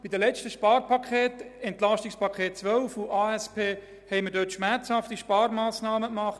In den letzten Sparpaketen, EP 2012 und ASP, haben wir in diesem Bereich schmerzhafte Sparmassnahmen getroffen.